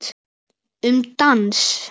Um dans